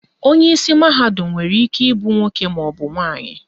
Onyeisi mahadum nwere ike ịbụ nwoke maọbụ nwaanyị